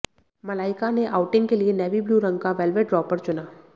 मलाइका ने आउटिंग के लिए नेवी ब्लू रंग का वेलवेट रोपर चुना